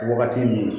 Wagati min